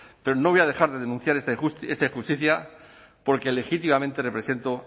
pero no voy a dejar de denunciar esta injusticia porque legítimamente represento